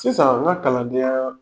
Sisan n ka kalanden yaa